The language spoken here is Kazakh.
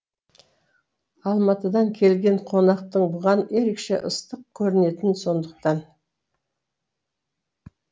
алматыдан келген қонақтың бұған ерекше ыстық көрінетіні сондықтан